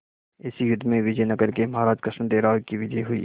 इस युद्ध में विजय नगर के महाराज कृष्णदेव राय की विजय हुई